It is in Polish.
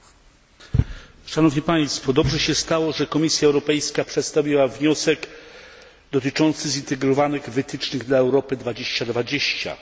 Dobrze się stało, że Komisja Europejska przedstawiła wniosek dotyczący zintegrowanych wytycznych dla Europy 2020, który dzisiaj przyjęliśmy w Parlamencie.